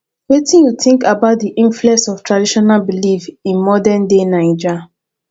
wetin you think about di influence of traditional beliefs in modernday naija